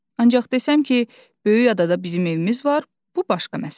Ancaq desəm ki, böyük adada bizim evimiz var, bu başqa məsələ.